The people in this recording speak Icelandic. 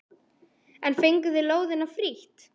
En fenguð þið lóðina frítt?